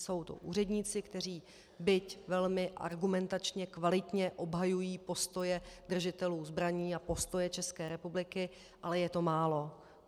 Jsou to úředníci, kteří byť velmi argumentačně kvalitně obhajují postoje držitelů zbraní a postoje České republiky, ale je to málo.